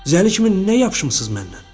Zəli kimi nə yapışmısız məndən?